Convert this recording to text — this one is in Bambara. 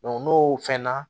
n'o fɛn na